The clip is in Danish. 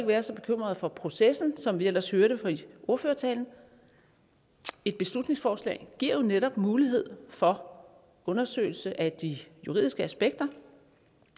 være så bekymret for processen som vi ellers hørte i ordførertalen et beslutningsforslag giver jo netop mulighed for undersøgelse af de juridiske aspekter